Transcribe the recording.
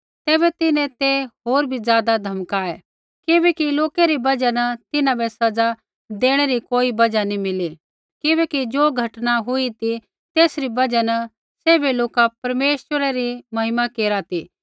तैबै तिन्हैं ते होर बी ज़ादा धमकाइआ छ़ौड़ै किबैकि लोकै री बजहा न तिन्हां बै सज़ा देणै री कोई बजहा नी मिली किबैकि ज़ो घटना न हुई ती तेसरी बजहा न सैभै लोका परमेश्वरै री महिमा केरा ती